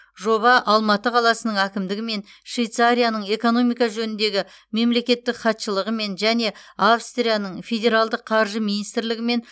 жоба алматы қаласының әкімдігімен швейцарияның экономика жөніндегі мемлекеттік хатшылығымен және австрияның федералдық қаржы министрлігімен